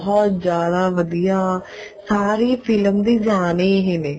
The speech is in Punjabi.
ਬਹੁਤ ਜਿਆਦਾ ਵਧੀਆ ਸਾਰੀ ਫਿਲਮ ਦੀ ਜਾਣ ਹੀ ਇਹੀ ਨੇ